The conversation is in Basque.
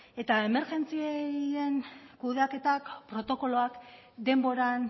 eta emergentzien kudeaketak protokoloak denboran